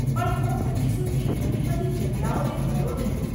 પણ હું હજી સુધી ઘણી બધી જગ્યાઓએ ગયો નથી.